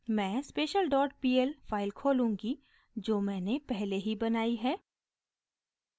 मैं special dot pl file खोलूँगी जो मैंने पहले ही बनाई है